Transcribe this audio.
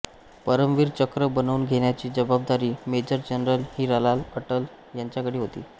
परमवीर चक्र बनवून घेण्याची जबाबदारी मेजर जनरल हिरालाल अटल यांच्याकडे होती